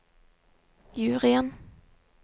juryen